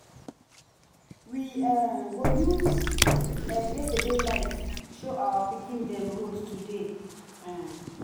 we um go use um yesterday light show our pikin dem road today. um